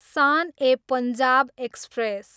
सान ए पञ्जाब एक्सप्रेस